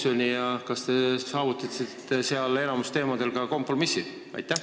Ja kui oli, siis kas te saavutasite enamiku teemade osas kompromissi?